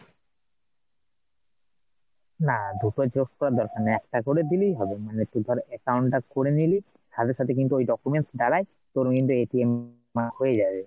না দুটো Xerox করার দরকার নেই, একটা করে দিলেই হবে মানে তুই ধর account টা করে নিলি সাথে সাথে কিন্তু ওই documents দ্বারাই তোর কিন্তু হয়ে যাবে